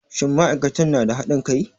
Shin ma'aikatan na da haɗin kai?